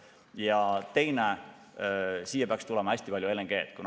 Ja teine signaal: siia peaks tulema hästi palju LNG-d.